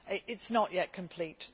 It is not yet complete.